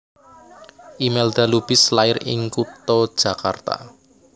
Imelda Lubis lair ing kutha Jakarta